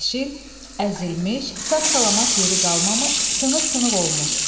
Əzilmiş, sağ-salamat yeri qalmamış, sınıq-sınıq olmuş.